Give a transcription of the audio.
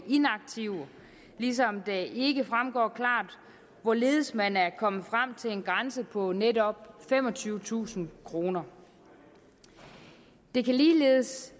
inaktiv ligesom det ikke fremgår klart hvorledes man er kommet frem til en grænse på netop femogtyvetusind kroner ligeledes